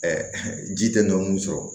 ji tɛ dɔn mun sɔrɔ